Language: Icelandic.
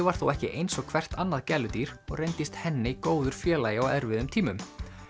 var þó ekki eins og hvert annað gæludýr og reyndist góður félagi á erfiðum tímum